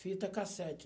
Fita cassete.